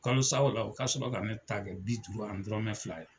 Kalosaw la o ka sɔrɔ ka ne ta kɛ bi duuru ani dɔrɔnmɛ fila ye.